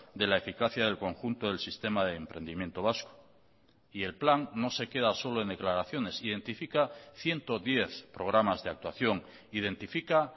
de la eficacia del conjunto del sistema de emprendimiento vasco y el plan no se queda solo en declaraciones identifica ciento diez programas de actuación identifica